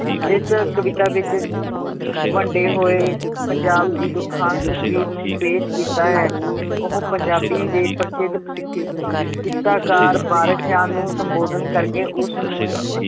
ਇਸ ਕਵਿਤਾ ਵਿੱਚ ਵੰਡੇ ਹੋਏ ਪੰਜਾਬ ਦੀ ਦੁਖਾਂਤ ਤਸ਼ਵੀਰ ਨੂੰ ਪੇਸ਼ ਕੀਤਾ ਹੈ, ਉਹ ਪੰਜਾਬੀ ਦੇ ਪ੍ਰਸਿੱਧ ਕਿੱਸਾਕਾਰ ਵਾਰਿਸ਼ ਸ਼ਾਹ ਨੂੰ ਸੰਬੋਧਨ ਕਰਕੇ ਉਸਨੂੰ